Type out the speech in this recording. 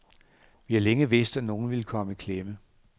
Vi har længe vidst, at nogle ville komme i klemme.